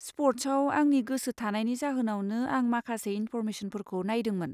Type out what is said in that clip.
स्पर्ट्सआव आंनि गोसोथानायनि जाहोनावनो आं माखासे इनफ'रमेसनफोरखौ नायदोंमोन।